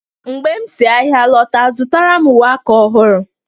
mgbe m si ahịa lọta zụtara m uwe aka ọhụrụ